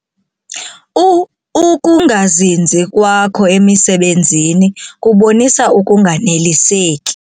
Uukungazinzi kwakho emisebenzini kubonisa ukunganeliseki.